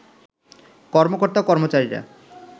কর্মকর্তা-কর্মচারিরা